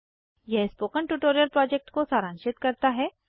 यह spoken tutorial project को सारांशित करता है